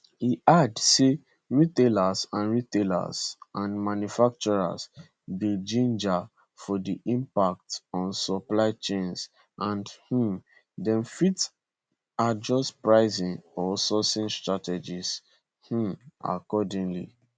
e add say retailers and retailers and manufacturers dey ginger for di impacts on supply chains and um dem fit adjust pricing or sourcing strategies um accordingly